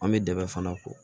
An bɛ dɛɛ fana ko